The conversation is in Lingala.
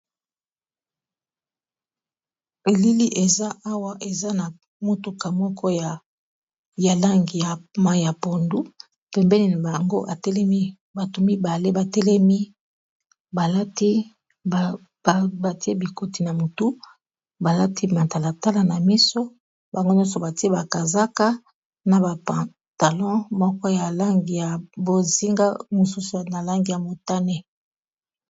Elili eza awa eza na motuka moko ya langi ya mayi ya pondu pembeni na bango atelemi bato mibale ba telemi batie bikoti na motu balati matalatala na miso bango nyonso batie bakazaka na ba pantalon moko ya langi ya bozinga mosusu na langi ya motane.